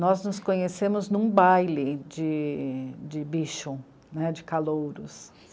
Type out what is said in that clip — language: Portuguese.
Nós nos conhecemos num baile de, de bicho, de calouros.